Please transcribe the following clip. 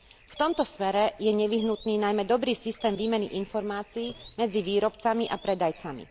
V tomto smere je nevyhnutný najmä dobrý systém výmeny informácií medzi výrobcami a predajcami.